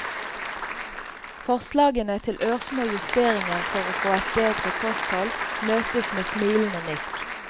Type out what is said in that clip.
Forslagene til ørsmå justeringer for å få et bedre kosthold møtes med smilende nikk.